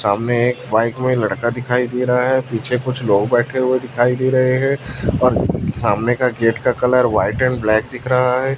सामने एक बाइक में लड़का दिखाई दे रहा है पीछे कुछ लोग बैठे हुए दिखाई दे रहे है और सामने का गेट का कलर व्हाइट एंड ब्लैक दिख रहा है।